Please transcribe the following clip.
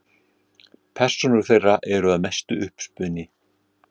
Persónur þeirra eru að mestu uppspuni.